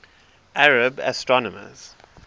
arab astronomers